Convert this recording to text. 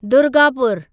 दुर्गापुरु